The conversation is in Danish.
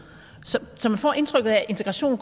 så man får indtrykket af at integrationen